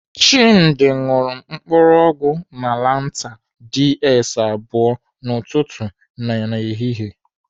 Chimdi ṅụrụ mkpụrụ ọgwụ malantar DS abụọ n'ụtụtụ na ehihie.